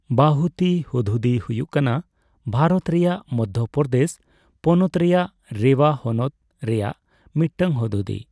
ᱵᱟᱦᱩᱛᱤ ᱦᱩᱫᱦᱩᱫᱤ ᱦᱩᱭᱩᱜ ᱠᱟᱱᱟ ᱵᱷᱟᱨᱚᱛ ᱨᱮᱭᱟᱜ ᱢᱚᱫᱽᱫᱷᱚᱯᱨᱚᱫᱮᱥ ᱯᱚᱱᱚᱛ ᱨᱮᱭᱟᱜ ᱨᱮᱣᱟ ᱦᱚᱱᱚᱛ ᱨᱮᱭᱟᱜ ᱢᱤᱫᱴᱟᱝ ᱦᱩᱫᱦᱩᱫᱤ ᱾